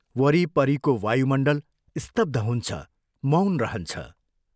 वरिपरिको वायुमण्डल स्तब्ध हुन्छ मौन रहन्छ।